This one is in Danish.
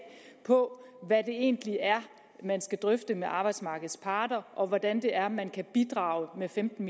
på hvad det egentlig er man skal drøfte med arbejdsmarkedets parter og hvordan det er man kan bidrage med femten